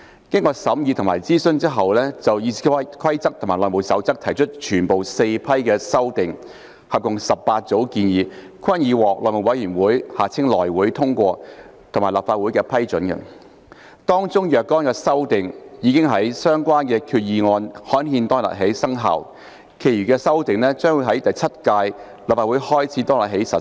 經審議及諮詢後，議事規則委員會就《議事規則》及《內務守則》提出的全部4批修訂，合共18組建議均已獲內務委員會通過及立法會批准，當中若干修訂已於相關決議案刊憲當日起生效，其餘的修訂則將會由第七屆立法會開始當日起實施。